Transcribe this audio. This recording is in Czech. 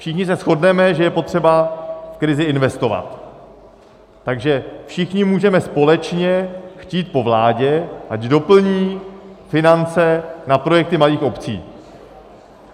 Všichni se shodneme, že je potřeba v krizi investovat, takže všichni můžeme společně chtít po vládě, ať doplní finance na projekty malých obcí.